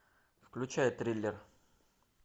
включай триллер